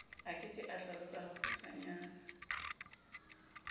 a ke o hlalose hakgutshwanyane